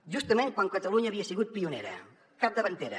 justament quan catalunya havia sigut pionera capdavantera